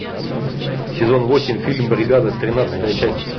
сезон восемь фильм бригада тринадцатая часть